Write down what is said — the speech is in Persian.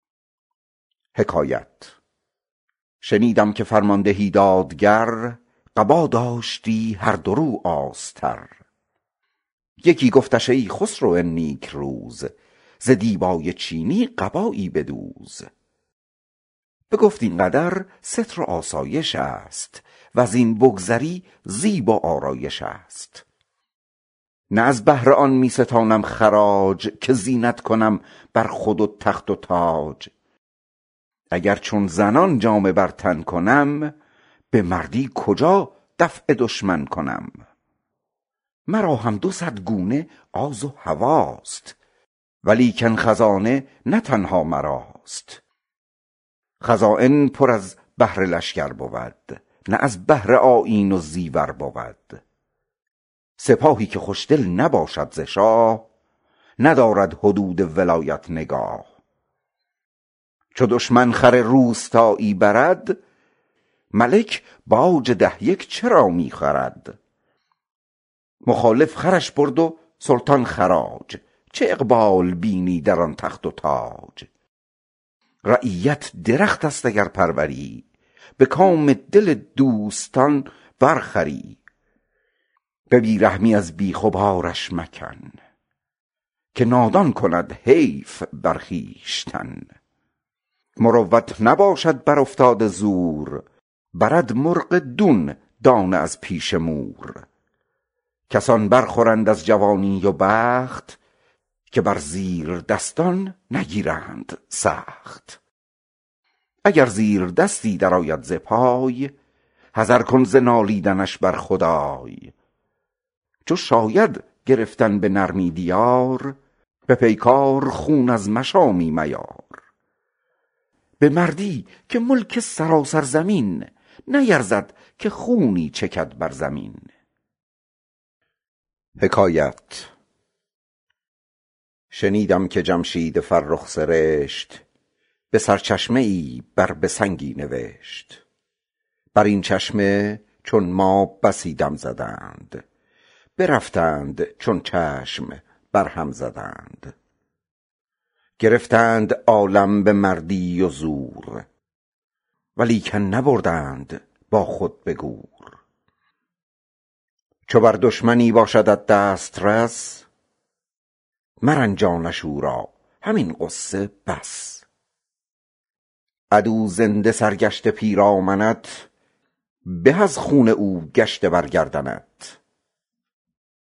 شنیدم که فرماندهی دادگر قبا داشتی هر دو روی آستر یکی گفتش ای خسرو نیکروز ز دیبای چینی قبایی بدوز بگفت این قدر ستر و آسایش است وز این بگذری زیب و آرایش است نه از بهر آن می ستانم خراج که زینت کنم بر خود و تخت و تاج چو همچون زنان حله در تن کنم به مردی کجا دفع دشمن کنم مرا هم ز صد گونه آز و هواست ولیکن خزینه نه تنها مراست خزاین پر از بهر لشکر بود نه از بهر آذین و زیور بود سپاهی که خوشدل نباشد ز شاه ندارد حدود ولایت نگاه چو دشمن خر روستایی برد ملک باج و ده یک چرا می خورد مخالف خرش برد و سلطان خراج چه اقبال ماند در آن تخت و تاج رعیت درخت است اگر پروری به کام دل دوستان بر خوری به بی رحمی از بیخ و بارش مکن که نادان کند حیف بر خویشتن مروت نباشد بر افتاده زور برد مرغ دون دانه از پیش مور کسان بر خورند از جوانی و بخت که بر زیردستان نگیرند سخت اگر زیردستی در آید ز پای حذر کن ز نالیدنش بر خدای چو شاید گرفتن به نرمی دیار به پیکار خون از مشامی میار به مردی که ملک سراسر زمین نیرزد که خونی چکد بر زمین شنیدم که جمشید فرخ سرشت به سرچشمه ای بر به سنگی نوشت بر این چشمه چون ما بسی دم زدند برفتند چون چشم بر هم زدند گرفتیم عالم به مردی و زور ولیکن نبردیم با خود به گور چو بر دشمنی باشدت دسترس مرنجانش کاو را همین غصه بس عدو زنده سرگشته پیرامنت به از خون او کشته در گردنت